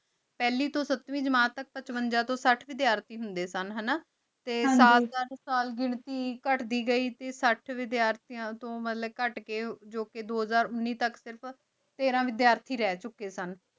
ਫਲੀ ਤੂੰ ਸਤ੍ਵੇਈ ਜਮਾਤ ਤਕ ਪ੍ਚ੍ਵੇਂਜਾ ਤੂੰ ਸਤ ਵੇਦ੍ਯਾਤੀ ਹੁੰਦੀ ਸਨ ਹਾਨਾ ਟੀ ਸਾਲ ਪਰ ਸਾਲ ਘਿਨਤੀ ਕਟਦੀ ਗੀ ਟੀ ਸਾਥ ਵੇਦ੍ਯਾਰਤੀ ਤੂੰ ਕਤ ਕੀ ਮਤਲਬ ਜੋ ਕੀ ਦੋਹ੍ਜ਼ਰ ਉਨੀ ਤਕ ਸਿਰਫ ਤੇਤਾ ਵੇਦ੍ਯਾਤੀ ਰਹ ਚੁਕੀ ਸਨ